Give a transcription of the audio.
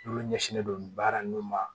Olu ɲɛsinnen don nin baara nun ma